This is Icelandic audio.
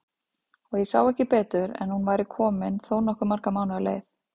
Og ég sá ekki betur en hún væri komin þó nokkuð marga mánuði á leið!